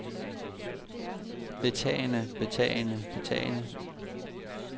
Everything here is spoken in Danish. betagende betagende betagende